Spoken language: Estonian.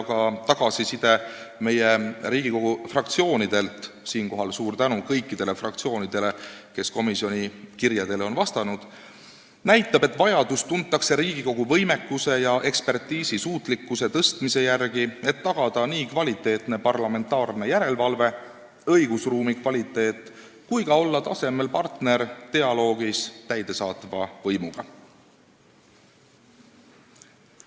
Ka tagasiside Riigikogu fraktsioonidelt – siinkohal suur tänu kõikidele fraktsioonidele, kes komisjoni kirjadele on vastanud – näitab, et vajadust tuntakse Riigikogu võimekuse ja ekspertiisisuutlikkuse suurendamise järele, et tagada kvaliteetne parlamentaarne järelevalve ja õigusruumi kvaliteet ning olla ka tasemel partner dialoogis täidesaatva võimuga.